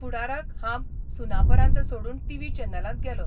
फुडाराक हांब सुनापरान्त सोडून टीव्ही चॅनलांत गेलों.